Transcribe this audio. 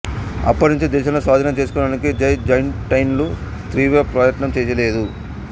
అప్పటి నుంచీ దేశంలో స్వాధీనం చేసుకొనడానికి బైజాంటైన్లు తీవ్ర ప్రయత్నం చేయలేదు